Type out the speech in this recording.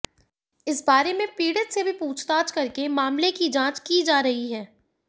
इस बारे में पीड़ित से भी पूछतांछ करके मामले की जांच की जा रही है